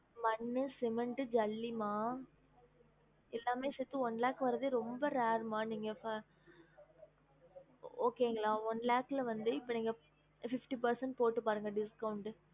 மண்ணு cement ஜல்லி மா எல்லாமே சேர்த்து one lakh வரதே ரொம்ப rare மா நீங்க இப்ப okay ங்களா one lakh ல வந்து இப்ப நீங்க fifty percent போட்டு பாருங்க discount